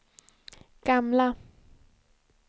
gamla